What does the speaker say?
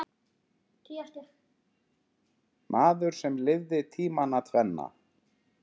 Maður sem lifði tímana tvenna.